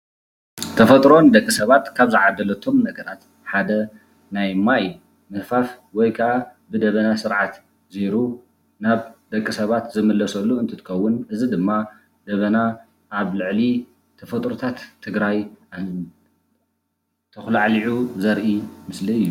ተፈጥሮ ንደቂ ሰባት ካብ ዝዓደለቶም ነገራት ሓደ ናይ ማይ ምህፋፍ ወይ ከዓ ብደበና ስርዓት ዘይሩ ናብ ደቂ ሰባት ዝምለሰሉ እንትትከውን እዚ ድማ ደበና ኣብ ልዕሊ ተፈጥሮታት ትግራይ ተኩላዕሊዑ ዘርኢ ምስሊ እዩ ።